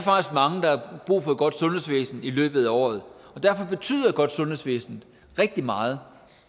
mange der har brug for et godt sundhedsvæsen i løbet af året og derfor betyder et godt sundhedsvæsen rigtig meget